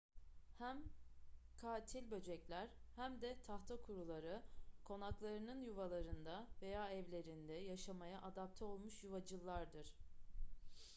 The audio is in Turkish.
hem katil böcekler hem de tahtakuruları konaklarının yuvalarında veya evlerinde yaşamaya adapte olmuş yuvacıllardır